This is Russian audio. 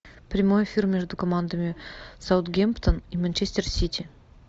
прямой эфир между командами саутгемптон и манчестер сити